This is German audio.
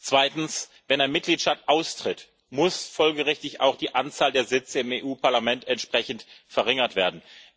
Zweitens Wenn ein Mitgliedstaat austritt, muss folgerichtig auch die Anzahl der Sitze im Europäischen Parlament entsprechend verringert werden.